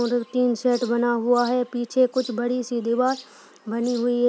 और tin set बना हुआ है। पीछे कुछ बड़ी सी दीवार बनी हुई है।